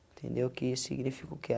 Entendeu que isso significa o que